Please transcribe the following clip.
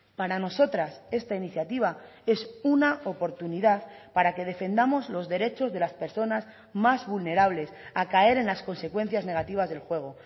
para nosotras esta iniciativa es una oportunidad para que defendamos los derechos de las personas más vulnerables a caer en las consecuencias negativas del juego